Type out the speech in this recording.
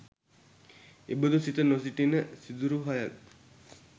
එබඳු සිත නොසිටින සිදුරු හයක්